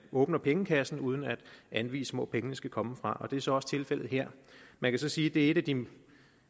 åbner pengekassen uden at anvise hvor pengene skal komme fra og det er så også tilfældet her man kan så sige at det er et af de